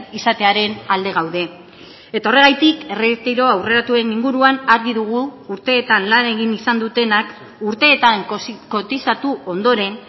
izatearen alde gaude eta horregatik erretiro aurreratuen inguruan argi dugu urteetan lan egin izan dutenak urteetan kotizatu ondoren